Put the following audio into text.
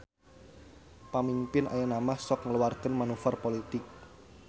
Pamingpin ayeunamah sok ngaluarkeun manuver politik